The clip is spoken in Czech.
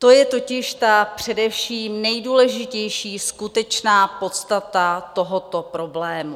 To je totiž ta především nejdůležitější skutečná podstata tohoto problému.